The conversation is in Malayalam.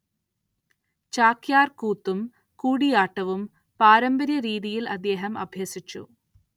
ചാക്യാർ കൂത്തും കൂടിയാട്ടവും പാരമ്പര്യ രീതിയിൽ അദ്ദേഹം അഭ്യസിച്ചു.